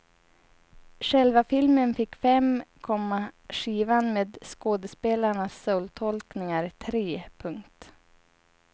Själva filmen fick fem, komma skivan med skådespelarnas soultolkningar tre. punkt